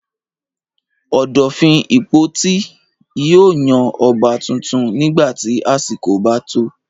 Ọ̀dọ̀fin Ìpotì yóò yan ọba tuntun nígbà tí àsìkò bá tó.